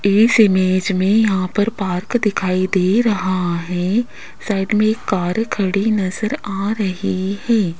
इस इमेज में यहां पर पार्क दिखाई दे रहा है साइड में एक कार खड़ी नजर आ रही है।